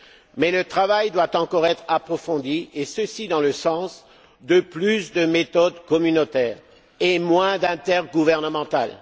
Mais le travail doit encore être approfondi et cela dans le sens de plus de méthode communautaire et moins de méthode intergouvernementale.